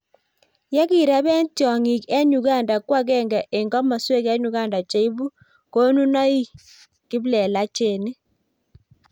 yekireben tonyngik eng Uganda ko akenge eng komosuek eng Uganda cheibu konunoik kiplelachenik